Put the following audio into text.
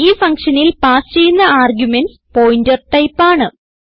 ഈ ഫങ്ഷനിൽ പാസ് ചെയ്യുന്ന ആർഗുമെന്റ്സ് പോയിന്റർ ടൈപ്പ് ആണ്